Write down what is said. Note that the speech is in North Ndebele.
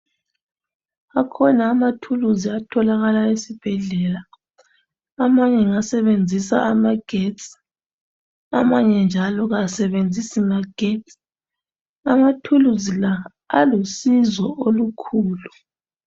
Akhona amathuluzi atholakala ezibhedlela amanye ngasebenzisa amagetsi amanje njalo kasebenzisi magetsi amathuluzi la alusizo olukhulu.